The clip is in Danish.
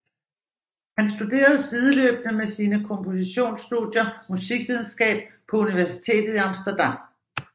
Han studerede sideløbende med sine kompositionsstudier musikvidenskab på Universitetet i Amsterdam